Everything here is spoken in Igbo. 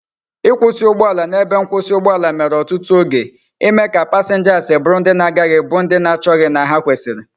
ikwusi ugboala na ebe mkwusi ugboala mere otutu oge ime ka passengers buru ndi na agaghi bu ndi na achochaghi na ha kwesiri